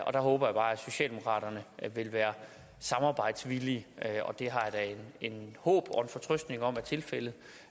og der håber jeg bare socialdemokraterne vil være samarbejdsvillige og det har jeg da et håb og en fortrøstning om er tilfældet